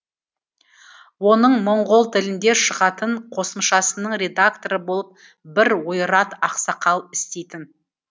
оның моңғол тілінде шығатын қосымшасының редакторы болып бір ойрат ақсақал істейтін